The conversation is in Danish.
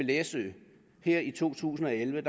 læsø her i to tusind og elleve